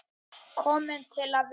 Kominn til að vera.